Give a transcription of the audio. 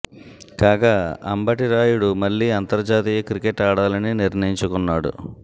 కాగా అంబటి రాయుడు మళ్లీ అంతర్జాతీయ క్రికెట్ ఆడాలని నిర్ణయించుకున్నాడు